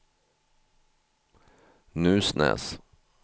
Nusnäs